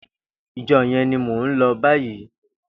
Ijò yèn ni mó n lò bàyí